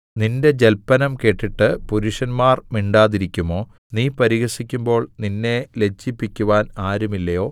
നിന്റെ ജല്പനം കേട്ടിട്ട് പുരുഷന്മാർ മിണ്ടാതിരിക്കുമോ നീ പരിഹസിക്കുമ്പോൾ നിന്നെ ലജ്ജിപ്പിക്കുവാൻ ആരുമില്ലയോ